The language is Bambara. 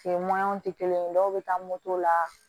tɛ kelen ye dɔw be taa moto la